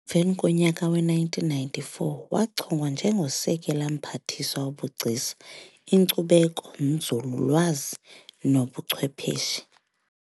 Emveni konyaka we-1994, wachongwa nje ngosekela Mphathiswa wobugcisa, inkcubeko, nzululwazi nobuchwepheshe.